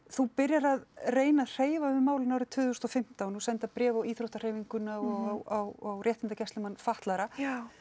þú byrjar að reyna að hreyfa við málinu árið tvö þúsund og fimmtán og að senda bréf á íþróttahreyfinguna og á réttindagæslumann fatlaðra